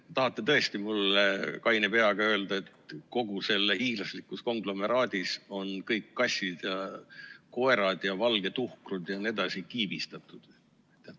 Te tahate tõesti mulle kaine peaga öelda, et kogu selles hiiglaslikus konglomeraadis on kõik kassid ja koerad ja valged tuhkrud jne kiibistatud?